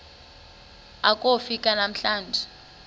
akofi ka emlanjeni